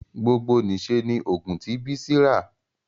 gbogbo n'iṣẹ ní ogún ti Bisi rá.